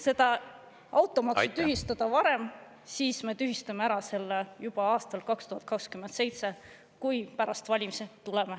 … seda automaksu tühistada varem, siis me tühistame selle aastal 2027, kui pärast valimisi võimule tuleme.